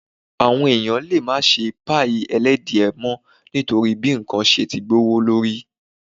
Àwọn èèyàn lè má ṣe páìì ẹlẹ́dìẹ mọ́ nítorí bí ǹkan ṣe ti gbówó lórí